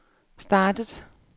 startede